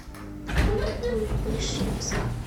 новокуйбышевск